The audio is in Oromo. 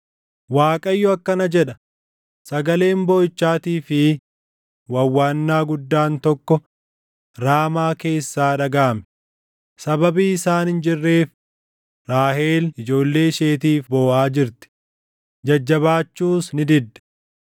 Waaqayyo akkana jedha: “Sagaleen booʼichaatii fi wawwaannaa guddaan tokko Raamaa keessaa dhagaʼame; sababii isaan hin jirreef, Raahel ijoollee isheetiif booʼaa jirti; jajjabaachuus ni didde.”